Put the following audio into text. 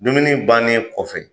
Dumuni bannen kɔfɛ,